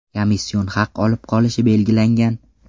komission haq olib qolishi belgilangan.